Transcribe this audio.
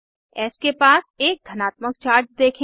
S के पास एक धनात्मक चार्ज देखें